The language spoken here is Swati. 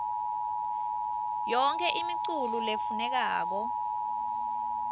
yonkhe imiculu lefunekako